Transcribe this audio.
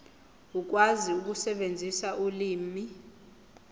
ukwazi ukusebenzisa ulimi